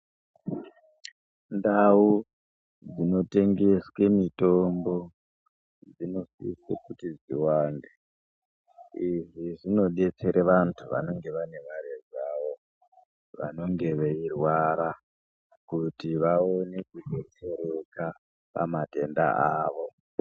Ndau dzinotengeswe mitombo dzinodikwe kuti dziwande izvi zvinodetsere vantu vanenge vanemare dzawo vanenge veirwara kuti vaone kudetsereka pamatenda avo.